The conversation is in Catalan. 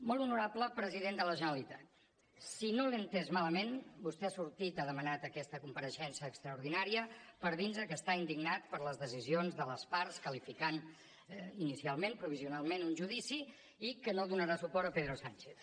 molt honorable president de la generalitat si no l’he entès malament vostè ha sortit ha demanat aquesta compareixença extraordinària per dir nos que està indignat per les decisions de les parts qualificant inicialment provisionalment un judici i que no donarà suport a pedro sánchez